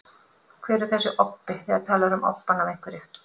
Hver er þessi obbi, þegar talað er um obbann af einhverju?